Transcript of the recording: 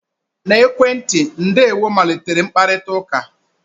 na ekwentị, 'ndewo' malitere mkparịta ụka